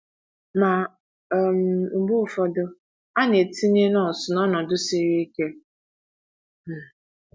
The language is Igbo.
Ma, um mgbe ụfọdụ a na - etinye nọọsụ n’ọnọdụ siri ike um.